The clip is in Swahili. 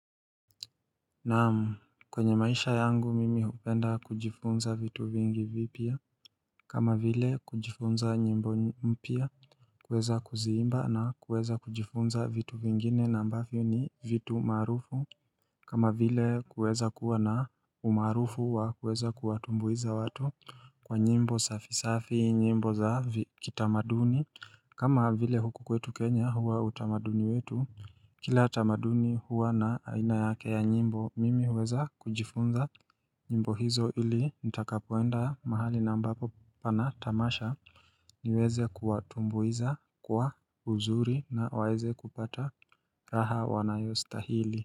Naam, kwenye maisha yangu mimi hupenda kujifunza vitu vingi vipya kama vile kujifunza nyimbo mpya kyweza kuziimba na kuweza kujifunza vitu vingine na ambafyo ni vitu maarufu kama vile kuweza kuwa na umarufu wa kuweza kuwatumbuiza watu kwa nyimbo safi safi, nyimbo za kitamaduni kama vile huku kwetu Kenya huwa utamaduni wetu, kila tamaduni huwa na aina yake ya nyimbo mimi huweza kujifunza nyimbo hizo ili nitakapoenda mahali na ambapo pana tamasha niweze kuwatumbuiza kwa uzuri na waeze kupata raha wanayostahili.